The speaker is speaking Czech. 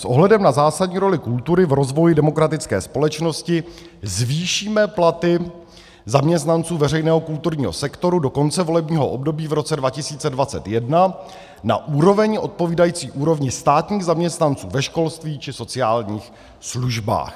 S ohledem na zásadní roli kultury v rozvoji demokratické společnosti zvýšíme platy zaměstnanců veřejného kulturního sektoru do konce volebního období v roce 2021 na úroveň odpovídající úrovni státních zaměstnanců ve školství či sociálních službách.